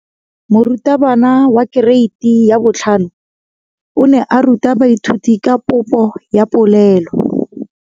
Moratabana wa kereiti ya 5 o ne a ruta baithuti ka popô ya polelô.